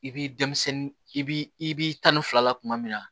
I b'i denmisɛnnin i b'i tan ni fila la tuma min na